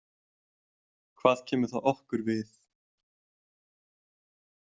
Hvað kemur það okkur við?